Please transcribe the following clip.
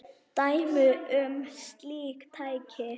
Dæmi um slík tæki